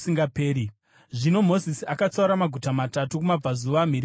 Zvino Mozisi akatsaura maguta matatu kumabvazuva mhiri kwaJorodhani,